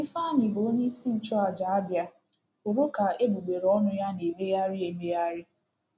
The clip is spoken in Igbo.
Ifeanyị, bụ́ onyeisi nchụàjà Abia, hụrụ ka egbugbere ọnụ ya na-emegharị emegharị.